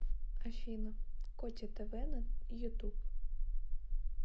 афина коте тв на ютуб